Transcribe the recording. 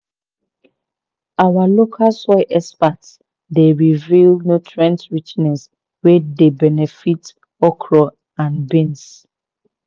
our local soil experts dey reveal nutrient richness wey dey benefit okra and beans."